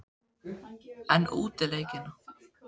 En útileikina?